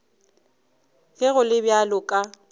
ge go le bjalo ka